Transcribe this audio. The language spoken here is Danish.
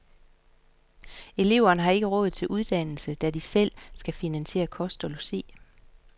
Eleverne har ikke råd til uddannelsen, da de selv skal finansiere kost og logi.